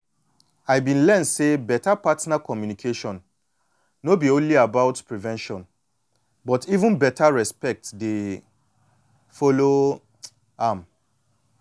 i been learn say partner communication no be only about prevention but even beta respect dey follow um am